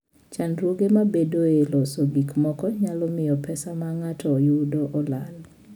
Chandruoge mabedoe e loso gik moko nyalo miyo pesa ma ng'ato yudo olal.